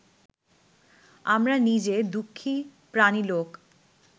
আমরা নিজে দুঃখী প্রাণী লোক